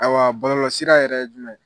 Ayiwa balɔlɔsira yɛrɛ ye jumɛn?